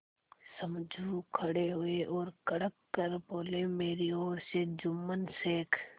समझू खड़े हुए और कड़क कर बोलेमेरी ओर से जुम्मन शेख